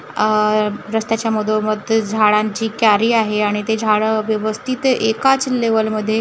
अह रस्त्याच्या मधोमध झाडांची कॅरी आहे आणि ते झाडं व्यवस्थित एकाच लेवल मध्ये--